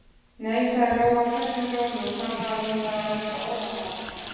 Nei, sagði Lóa hvellum rómi og fann að hún var að verða óðamála.